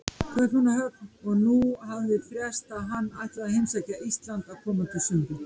Kaupmannahöfn, og nú hafði frést að hann ætlaði að heimsækja Ísland á komandi sumri.